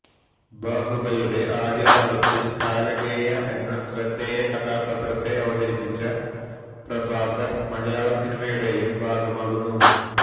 ബാഹുബലിയുടെ ആദ്യഭാഗത്തില് കാലകേയ എന്ന ശ്രദ്ധേയ കഥാപാത്രത്തെ അവതരിപ്പിച്ച പ്രഭാകര് മലയാള സിനിമയുടെയും ഭാഗമാകുന്നു